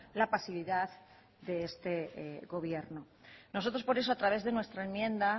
la pasividad de este gobierno nosotros por eso a través de nuestra enmienda